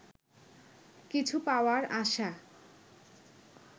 কিছু পাওয়ার আশা